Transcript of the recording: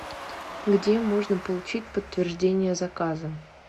где можно получить подтверждение заказа